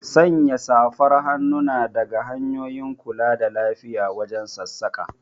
Sanya safar hannu na daga hanyoyin kula da lafiya wajen sassaƙa